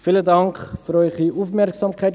Ich sage es noch einmal: